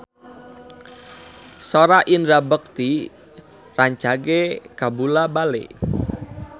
Sora Indra Bekti rancage kabula-bale